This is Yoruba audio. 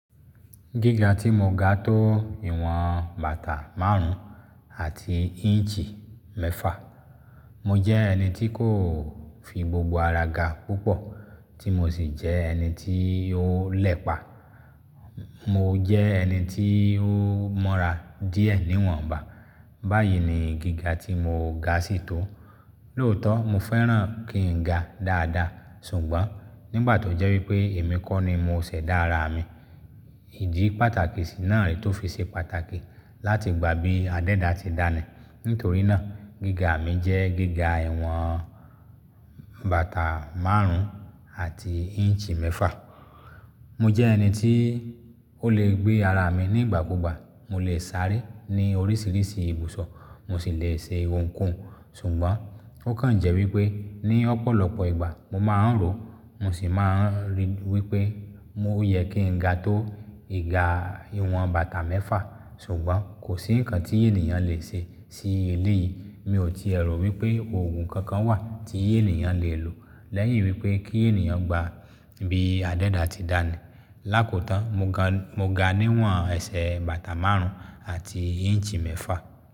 Gíga tí mo ga tó ìwọ̀n bàtà márùn-ún àti inch mẹ́fà. Mo jẹ́ ẹni tí kò fi gbogbo ara ga púpọ̀ tí mo sì jẹ́ ẹni tí ó lẹ̀pa. Mo jẹ́ ẹni tí ó moọ́ra díẹ̀ níwọ̀nba. Báyìí ni gíga tí mo ga sí tó. Lóòótọ́ mo fẹ́ràn kí n ga dáadáa ṣùgbọ́n nígbà tó jẹ́ wípé èmi kọ́ ni mo ṣẹ̀dá ara mi, ìdí pàtàkì sì náà re tó fi ṣe pàtàkì láti gba bí adẹ́da ti dánì. Nítorí náà gíga mi jẹ́ gíga ìwọ̀n bàtà márùn-ún àti inch mẹ́fà. Mo jẹ́ ẹni tí ó lè gbé ara mi nígbà kugba. Mo lè sáré ní oríṣìíríṣìí ìbùsọ̀, mo sì lè ṣe ohunkóhun ṣùgbọ́n ó kàn jẹ́ wípé ní ọ̀pọ̀lọpọ̀ ìgbà mo máa ń rò, mo sì máa ń rí wípé ó yẹ kí n ga tó ìga ìwọ̀n bàtà mẹ́fà. Ṣùgbọ́n kò sí nǹkan tí ènìyàn lè ṣe sí eléyìí. Mi ò ti è rò wípé òògùn kankan wà tí ènìyàn lè lò lẹ́yìn wípé kí ènìyàn gba bí adẹ́da ti dánì. Lakotan, mo ga níwọ̀n ẹsẹ̀ bàtà márùn-ún àti inch mẹ́fà.